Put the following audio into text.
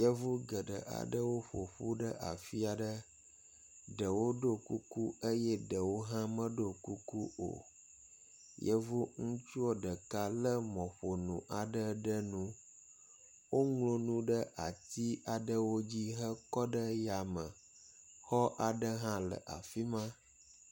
Yevu geɖe aɖewo ƒoƒu ɖe afi aɖe. Ɖewo ɖo kuku eye ɖewo hã meɖo kuku o. Yevu ŋutsu ɖeka le mɔƒonu aɖe ɖe nu. Woŋlɔ nu ɖe atsi aɖewo dzi hekɔ ɖe ya me. Xɔ aɖe hã le afi ma.